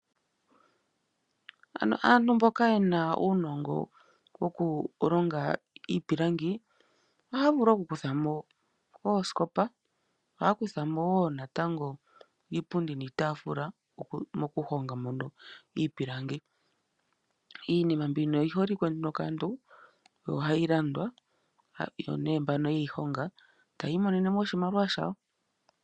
Aantu mboka yena uunongo woku longa iipilangi ohaya vulu oku kuthamo oosikopa iinima mbino oyiholike nduno kaantu yo ohayi landwa yo mbano yeyi honga taya imonenemo oshimaliwa shawo.